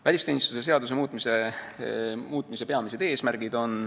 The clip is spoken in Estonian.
Välisteenistuse seaduse muutmise peamised eesmärgid.